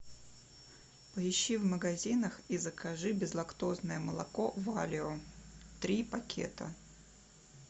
поищи в магазинах и закажи безлактозное молоко валио три пакета